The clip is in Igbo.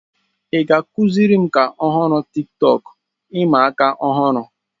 Ị ga-akụziri m ka ọhụrụ Tiktọk ịma aka ọhụrụ?